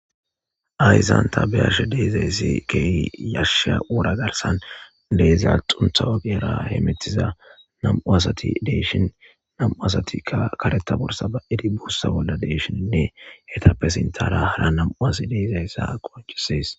Hayssan ta be'ashe deiizayssi kehi yashshiya worra garssan deiiza xuuntha oggera hemmettiza nem'u asati de'ishshin nam'u assatika kareththa boorssa bai'idi buussa bolla deishshine eetappe sinththara haara nam'u asi deizayssa qonccises.